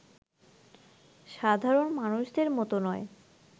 সাধারণ মানুষদের মতো নয়